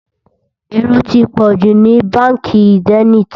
èrò tí pojú nínú bánkì zenith